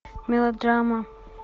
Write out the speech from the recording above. мелодрама